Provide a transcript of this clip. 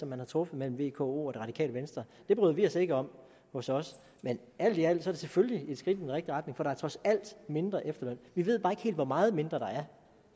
man har truffet mellem vko og det radikale venstre det bryder vi os ikke om hos os men alt i alt er det selvfølgelig et skridt i rigtig retning for der er trods alt mindre efterløn vi ved bare ikke helt hvor meget mindre der er